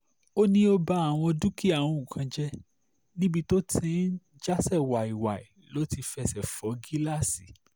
ó ní ó ba àwọn dúkìá òun kan jẹ́ níbi tó ti ń jàsé wàí-wàí ló ti fẹsẹ̀ fọ gíláàsì